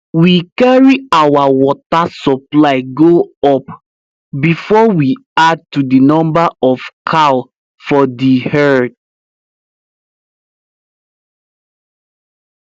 we carry our watr supply go up before we add to the number of cow for the herd